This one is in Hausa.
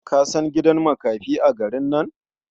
Ka san gidan makafi a garin nan?